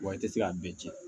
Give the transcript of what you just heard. Wa i tɛ se ka bɛɛ tiɲɛ